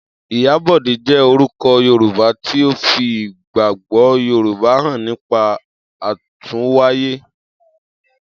Iyabode jẹ́ orúkọ Yorùbá tí ó fi ìgbàgbọ́ Yorùbá hàn nípa àtúnwáyé.